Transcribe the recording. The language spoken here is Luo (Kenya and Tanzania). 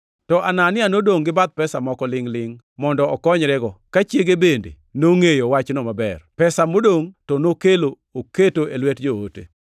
To Anania nodongʼ gi bath pesa moko lingʼ-lingʼ mondo okonyrego, ka chiege bende nongʼeyo wachno maber. Pesa modongʼ, to nokelo oketo e lwet joote.